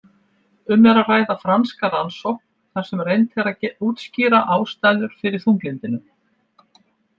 Um er að ræða franska rannsókn þar sem reynt er að útskýra ástæður fyrir þunglyndinu.